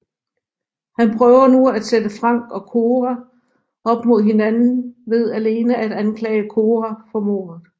Han prøver nu at sætte Frank og Cora op mod hinanden ved alene at anklage Cora for mordet